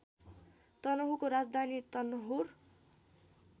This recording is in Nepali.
तनहुँको राजधानी तनहुँर